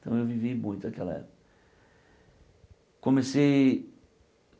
Então eu vivi muito naquela época. Comecei